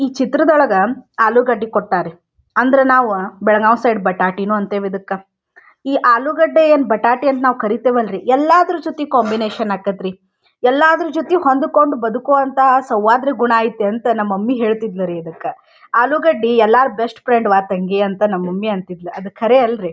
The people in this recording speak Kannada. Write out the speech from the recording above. ಈ ಚಿತ್ರದೊಳಗ ಆಲೂಗಡ್ಡೆ ಕೊಟ್ಟಾರ ರಿ ಅಂದ್ರ ನಾವ ಬೆಳಗಾವ ಸೈಡ್ ಬಟಾಟಿನು ಅಂತೀವ ಇದಕ್ಕ. ಈ ಆಲೂಗಡ್ಡೆ ಏನ್ ನಾವ್ ಬಟಾಟೆ ಅಂತ ಕರೀತೀವ್ಲರಿ ಎಲ್ಲಾದ್ರು ಜೊತೆಗ್ ಕಾಂಬಿನೇಶನ್ ಆಕೇತ್ರಿ ಎಲ್ಲದ್ರ ಜೊತಿ ಹೊಂದ್ಕೊಂಡ್ ಬದುಕುವಂಥ ಸೌಹಾರ್ದ ಗುಣ ಐಯ್ತ್ ಅಂತ ನಮ್ ಮಮ್ಮಿ ಹೇಳತ್ತಿದ್ದ್ಲ ರೀ ಇದಕ್ಕ ಆಲೂಗಡ್ಡಿ ಎಲ್ಲರ ಬೆಸ್ಟ್ ಫ್ರೆಂಡ್ ಅವ್ವ ನನ್ ತಂಗಿ ಅಂತ ನಮ್ ಮಮ್ಮಿ ಅಂತಿದ್ಲ ಅದ್ ಕರೆ ಅಲ್ರಿ.